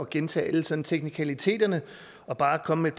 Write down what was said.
gentage alle sådan teknikaliteterne og bare komme med